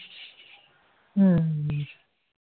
হম হম হম